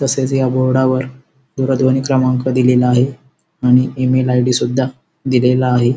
तसेच या बोर्डा वर दूरध्वनी क्रमांक दिलेला आहे आणि इ-मेल आय.डी. सुद्धा दिलेला आहे.